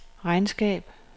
regnskab